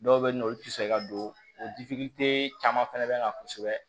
Dɔw bɛ yen nɔ olu tɛ sɔn ka don o caman fana bɛ na kosɛbɛ